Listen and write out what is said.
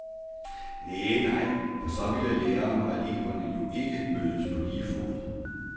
Næh, nej, for så ville lærerne og eleverne jo ikke mødes på lige fod.